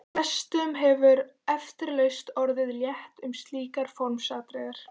Flestum hefði eflaust orðið létt um slík formsatriði.